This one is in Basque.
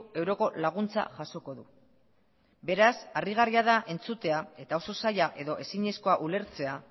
euroko laguntza jasoko du beraz harrigarria da entzutea eta oso zaila edo ezinezkoa ulertzea